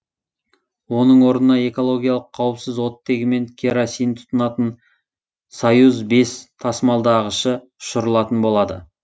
оның орнына экологиялық қауіпсіз оттегі мен керосин тұтынатын союз бес тасымалдағышы ұшырылатын болады